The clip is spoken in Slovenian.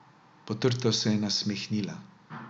Potrto se je nasmehnila.